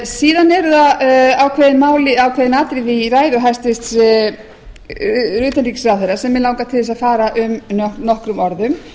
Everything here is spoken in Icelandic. síðan eru það ákveðin atriði í ræðu hæstvirts utanríkisráðherra sem mig langar til að fara um nokkrum orðum